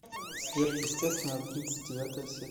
сверхъестественное тридцать девятая серия